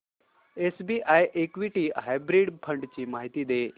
SBI equity hybrid fund ची माहिती दे